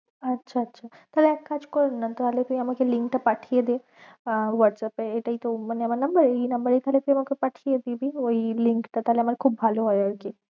আচ্ছা আচ্ছা তাহলে এক কাজ কর না তাহলে তুই আমাকে link টা পাঠিয়ে দে আহ whatsapp এ এটাই তো মানে আমার number এই number এই তাহলে তুই আমাকে পাঠিয়ে দিবি ওই link টা তাহলে আমার খুব ভালো হয়ে আর কি